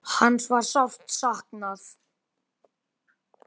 Hans var sárt saknað.